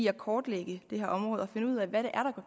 at kortlægge det her område og finde ud af hvad det er